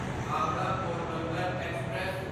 Howrah Porbandar express